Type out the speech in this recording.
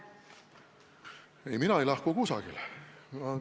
Ei, mina ei lahku kusagile.